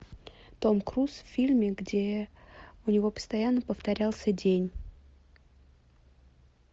том круз в фильме где у него постоянно повторялся день